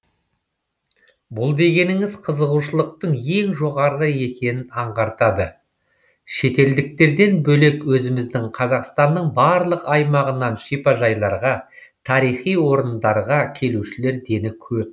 бұл дегеніңіз қызығушылықтың өте жоғары екенін аңғартады шетелдіктерден бөлек өзіміздің қазақстанның барлық аймағынан шипажайларға тарихи орындарға келушілер дені көп